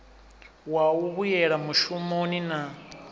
wa u vhuyela mushumoni na